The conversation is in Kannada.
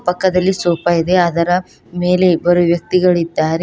ಪಕ್ಕದಲ್ಲಿ ಸೋಪ ಇದೆ ಅದರ ಮೇಲೆ ಇಬ್ಬರು ವ್ಯಕ್ತಿಗಳಿದ್ದಾರೆ.